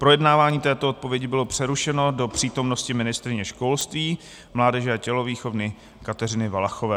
Projednávání této odpovědi bylo přerušeno do přítomnosti ministryně školství, mládeže a tělovýchovy Kateřiny Valachové.